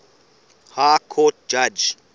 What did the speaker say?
high court judge